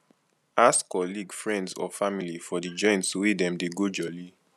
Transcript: ask colleague friends or family for di joints wey dem dey go jolli